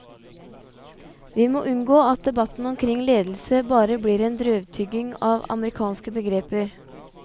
Vi må unngå at debatten omkring ledelse bare blir en drøvtygging av amerikanske begreper.